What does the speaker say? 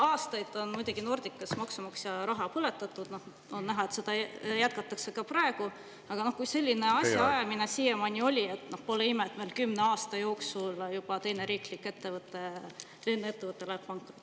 Aastaid on muidugi Nordicas maksumaksja raha põletatud, on näha, et seda jätkatakse ka praegu, aga kui selline asjaajamine siiamaani on olnud, siis pole ime, et meil kümne aasta jooksul juba teine riiklik lennuettevõte läheb pankrotti.